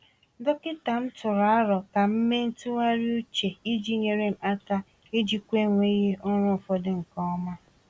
Dọkịta m tụụrụ aro ka m mee ntụgharị uche iji nyere m aka ijikwa enweghị ụra ụfọdụ nke ọma.